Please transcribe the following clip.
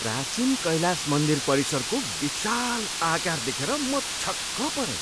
प्राचीन कैलास मन्दिर परिसरको विशाल आकार देखेर म छक्क परेँ!